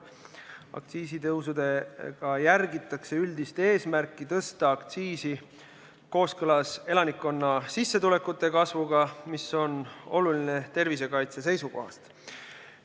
Aktsiisitõusudega järgitakse üldist eesmärki tõsta aktsiisi kooskõlas elanikkonna sissetulekute kasvuga, mis on oluline tervisekaitse seisukohast.